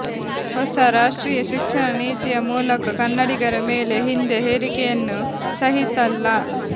ಹೊಸ ರಾಷ್ಟ್ರೀಯ ಶಿಕ್ಷಣ ನೀತಿಯ ಮೂಲಕ ಕನ್ನಡಿಗರ ಮೇಲೆ ಹಿಂದೆ ಹೇರಿಕೆಯನ್ನು ಸಹಿಸಲ್ಲ